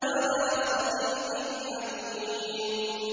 وَلَا صَدِيقٍ حَمِيمٍ